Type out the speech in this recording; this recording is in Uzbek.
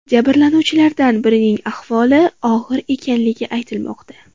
Jabrlanuvchilardan birining ahvoli og‘ir ekanligi aytilmoqda.